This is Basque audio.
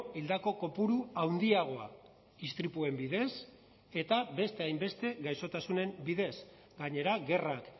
hildako kopuru handiagoa istripuen bidez eta beste hainbeste gaixotasunen bidez gainera gerrak